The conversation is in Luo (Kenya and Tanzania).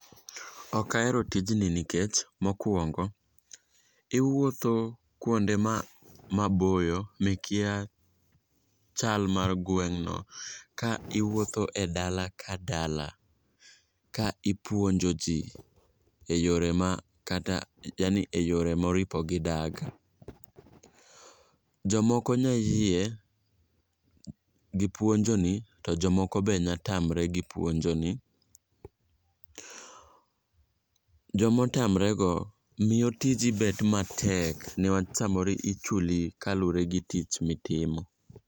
Ok ahero tijni nikech mokwongo, iwuotho kuonde maboyo mikia chal mar gweng'no ka iwuotho e dala ka dala ka ipuonjo ji e yore moripo gidag. Jomoko nya yie gi puonjoni to jomoko be nya tamre gi puonjoni. Jomotamre go miyo tiji bet matek niwach samoro ichuli kaluwre gi tich mitimo.